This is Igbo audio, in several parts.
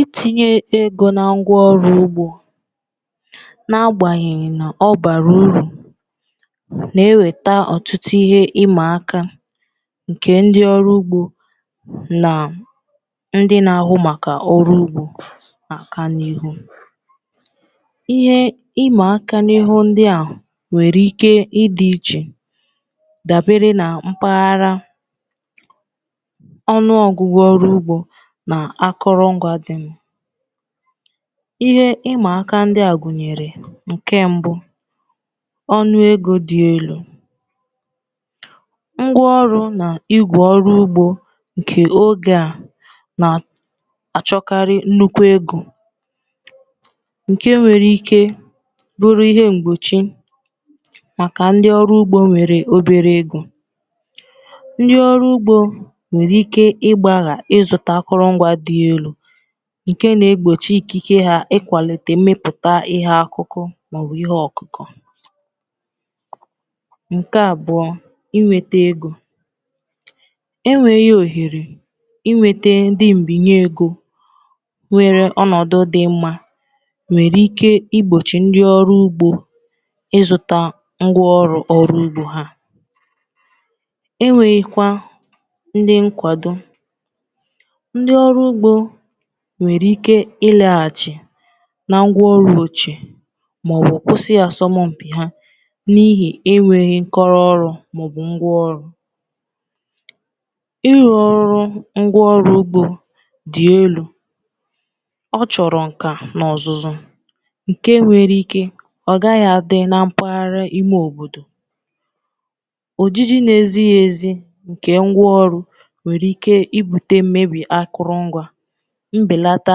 Itinye ego na ngwa ọrụ ugbo na-agbanyenye na ọ bara uru, ma na-eweta ọtụtụ ihe ịma aka. Nke a metụtara ndị ọrụ ugbo na ndị na-ahụ maka ọrụ ugbo n’aka n’ihu ihe ịma aka ndị a, ọkachasị n’ihu ndị nwere ike ịdị iche, dabere na mpaghara. Ihe ịma aka ndị a gụnyere: Onụ ego dị elu: Ngwa ọrụ na igwe ọrụ ugbo nke oge a na-achọkarị nnukwu ego, nke nwere ike ịbụ ihe mgbochi maka ndị ọrụ ugbo nwere obere ego. Ndị ọrụ ugbo nwere ike ịgba ga-achọ ịzụta ike, ma ego enweghị ike igbochi ikike ha ịkwalite mmepụta ihe, akụkụ, maọbụ ihe ọkụkọ. Inwete ego: Enweghị ohere inweta ndị mbinye ego nwere ọnọdụ dị mma nwere ike igbochi ndị ọrụ ugbo ịzụta ngwa ọrụ ugbo. Ha enwekwaghịkwa ndị nkwado nwere ike ịlaghachi na ngwá ọrụ ụbọchị maọbụ osì asọmụpị ha, n’ihi na ha enweghị nkọrọ ọrụ maọbụ ngwa ọrụ arụ ọrụ. Ngwa ọrụ ugbo dị elu: Ngwa ndị a na-achọ nka na ọzụzụ pụrụ iche. Enwere ike na n’agbanyeghị na ngwa ọrụ dị, a pụghị iji ya mee ihe n’ihi enweghị ọmụmụ maọbụ ọzụzụ. Nke a nwekwara ike ibute mmebi akụrụ ngwá, mbelata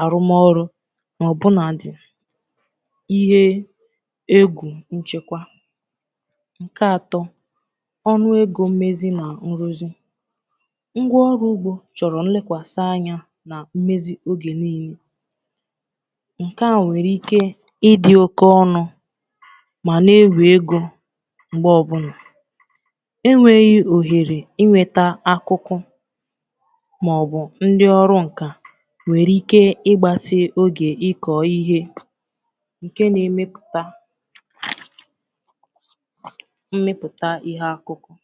arụmọrụ, na ọbụnadị ihe egwu nchekwa. Onu ego mmezi na nrụzi: Ngwa ọrụ ugbo chọrọ nlekọta anya na mmezi oge niile. Nke a nwekwara ike ịdị oke ọnụ, ma na-ewe ego, ọbụnadị mgbe enweghi ohere inweta akụkụ maọbụ ndị ọrụ nka. Nke a nwere ike ịgbatị oge ịkọ ihe, nke na-emetụta mmepụta ihe ugbo n’ozuzu ya.